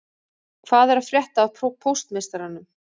Hvað er að frétta af póstmeistaranum